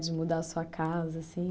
De mudar a sua casa, assim.